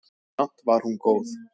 Samt var hún góð.